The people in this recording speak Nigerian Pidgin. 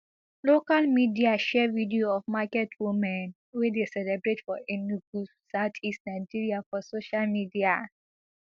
local media share video of market women wey dey celebrate for enugu southeast nigeria for social media